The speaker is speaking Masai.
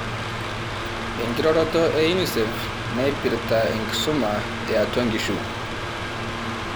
Enkiroroto e UNICEF naipirta enkisuma eatua nkishu